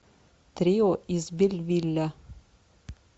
трио из бельвилля